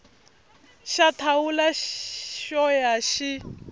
xa thawula xo ya xi